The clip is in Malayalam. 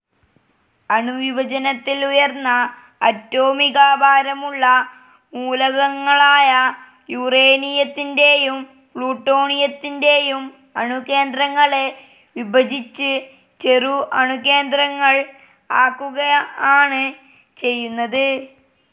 അണുവിഭജനത്തിൽ ഉയർന്ന അറ്റോമികഭാരമുള്ള മൂലകങ്ങളായ യൂറേനിയത്തിൻ്റേയും പ്ലൂട്ടോണിയത്തിൻ്റേയും അണുകേന്ദ്രങ്ങളെ വിഭജിച്ച് ചെറു അണുകേന്ദ്രങ്ങൾ ആക്കുക ആണ് ചെയ്യുന്നത്.